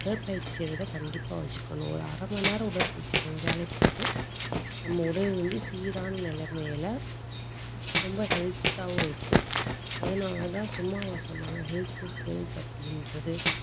உடற்பயிற்சி செய்வதை கண்டிப்பா வச்சுக்கணும். ஒரு அரை மணி நேரம் உடற்பயிற்சி செஞ்சாலே போதும். நம்ம உடல் வந்து, சீரான நிலைமையில ரொம்ப health ஆவும் இருக்கும். அதனாலதான் சும்மாவா சொன்னாங்க health is wealth அப்படின்றது